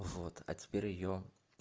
вот а теперь регион